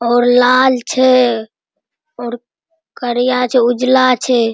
और लाल छे और करिया छे उजला छे |